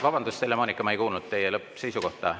Vabandust, Helle-Moonika, ma ei kuulnud teie lõppseisukohta.